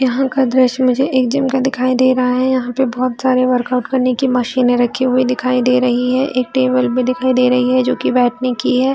यहाँ का दृश्य मुझे एक जिम का दिखाई दे रहा है यहाँ पे बहोत सारे वर्कआउट करने की मशीने रखी हुई दिखाई दे रही है एक टेबल दिखाई दे रही है जो कि बैठने की है।